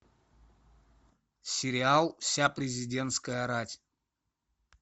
сериал вся президентская рать